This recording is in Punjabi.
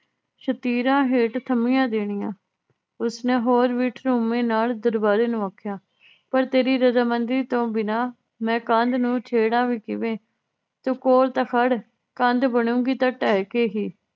ਸ਼ਤੀਰਾਂ ਹੇਠ ਥੱਮੀਆਂ ਦੇਣੀਆਂ ਉਸਨੇ ਹੋਰ ਵੀ ਠੁਮੇ ਨਾਲ ਦਰਬਾਰੀ ਨੂੰ ਆਖਿਆ ਪਰ ਤੇਰੀ ਰਜਾਮੰਦੀ ਤੋਂ ਬਿਨਾ ਮੈ ਕੰਧ ਨੂੰ ਛੇੜਾਂ ਵੀ ਕਿਵੇਂ ਤੂੰ ਕੋਲ ਤਾਂ ਖੜ ਕੰਧ ਬਣੂਗੀ ਤਾਂ ਢਹਿ ਕੇ ਹੀ